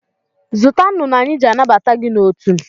Zụta nnụnụ anyị jị anabata gị n'otu!